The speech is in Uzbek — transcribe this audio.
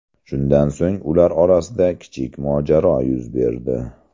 Shundan so‘ng ular orasida kichik mojaro yuz berdi.